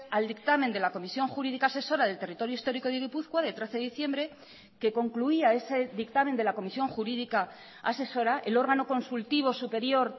al dictamen de la comisión jurídica asesora del territorio histórico de gipuzkoa de trece de diciembre que concluía ese dictamen de la comisión jurídica asesora el órgano consultivo superior